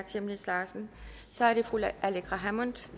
chemnitz larsen så er det fru aleqa hammond